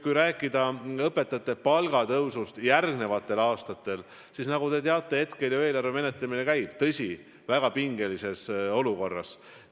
Kui rääkida õpetajate palga tõusust järgmistel aastatel, siis nagu te teate, hetkel ju eelarve menetlemine käib, tõsi, väga pingelises olukorras.